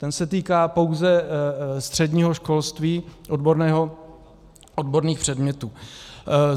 Ten se týká pouze středního školství odborného, odborných předmětů.